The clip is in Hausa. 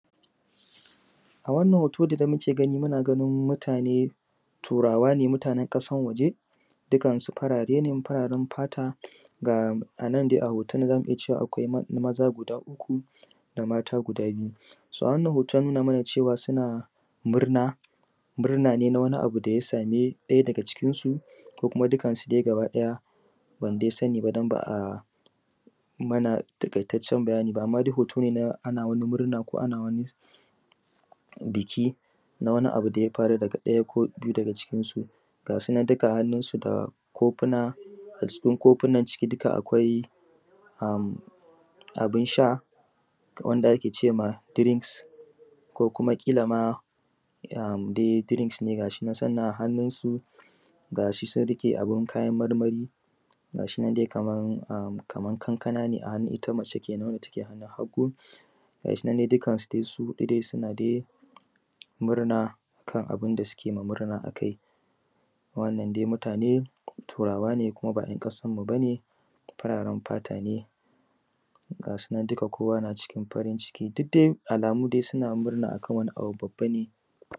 A wannan hooto da muke gani muna ganin mutaane turaawa ne mutaanen ƙasan waje, dukan su farare ne fararen fata, ga anan dai a hooton nan za mu iya cewa akwai maza gudaa uku da maata gudaa biyu. So a wannan hooton ya nuna mana suna murna murna ne na wani abu da ya sami ɗaya daga cikinsu ko kuma dukansu dai gaba ɗaya, ban dai sani ba don ba a mana taƙaitaccen bayani ba, amma dai hooto ne na ana murna ko ana wani biki na wani abu da ya faru daga ɗaya ko biyu daga cikinsu. Ga su nan duka hannunsu da koofuna, ga sunan koofunan ciki duka akwai abin sha wanda ake ce ma drinks, ko kuma ƙila ma dai drinks ne ga shinan suna hannunsu, ga shi sun riƙe abin kayan marmari, ga shinan dai kamar kankana ne a hannun ita mace kenan wanda take hannun hagu, ga shinan duka su dai su huɗu suna dai murna kana bin da suke ma murna a kai. Wannan dai mutaane turaawa ne kuma ba 'yan ƙasan mu bane, fararen fata ne, ga sunan duka kowa naa cikin farin ciki, duk dai alamu dai suna murna akan wani abu babba ne.